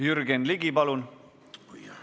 Jürgen Ligi, palun!